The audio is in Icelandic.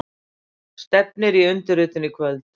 Stefnir í undirritun í kvöld